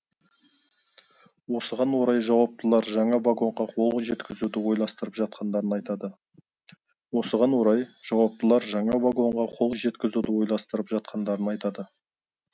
осыған орай жауаптылар жаңа вагонға қол жеткізуді ойластырып жатқандарын айтады осыған орай жауаптылар жаңа вагонға қол жеткізуді ойластырып жатқандарын айтады